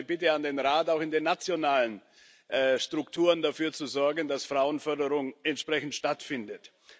Deswegen meine Bitte an den Rat, auch in den nationalen Strukturen dafür zu sorgen, dass Frauenförderung entsprechend stattfindet.